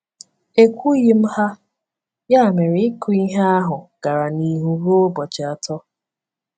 E kwughị m ha, ya mere ịkụ ihe ahụ gara n’ihu ruo ụbọchị atọ.